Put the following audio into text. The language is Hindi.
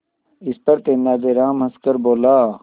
इस पर तेनालीराम हंसकर बोला